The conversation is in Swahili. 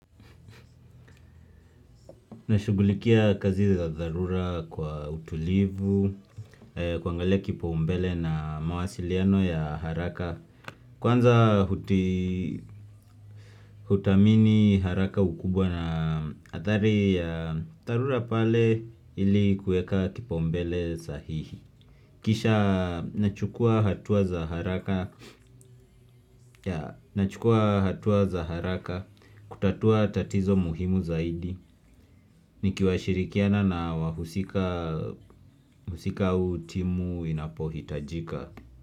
Nashughulikia kazi za dharura kwa utulivu, kuangalia kipaumbele na mawasiliano ya haraka Kwanza huti hutamini haraka ukubwa na athari ya dharura pale ili kueka kipaumbele sahihi Kisha nachukua hatua za haraka nachukua hatua za haraka kutatua tatizo muhimu zaidi Nikiwashirikiana na wahusika au timu inapohitajika.